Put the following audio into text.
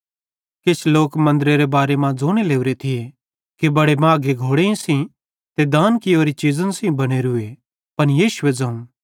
किछ लोक मन्दरे बारे मां ज़ोने लोरे थिये कि बड़े माघे घोड़ेईं सेइं ते दान कियोरी चीज़न सेइं बनोरूए त यीशुए ज़ोवं